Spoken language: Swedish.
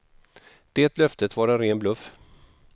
Det löftet var en ren bluff.